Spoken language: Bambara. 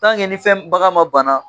nin fɛn bagan ma bana.